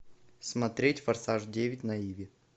смотреть форсаж девять на иви